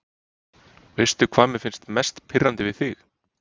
Veistu hvað mér finnst mest pirrandi við þig?